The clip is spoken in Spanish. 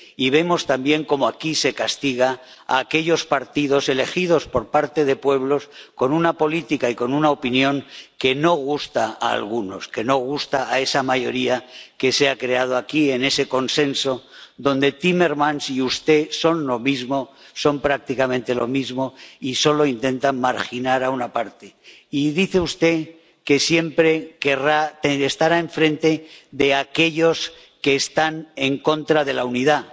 Y vemos también cómo aquí se castiga a aquellos partidos elegidos por parte de pueblos, con una política y con una opinión que no gusta a algunos, que no gusta a esa mayoría que se ha creado aquí, en ese consenso donde Timmermans y usted son lo mismo, son prácticamente lo mismo, y solo intentan marginar a una parte. Y dice usted que siempre estará enfrente de aquellos que están en contra de la unidad.